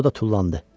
O da tullandı.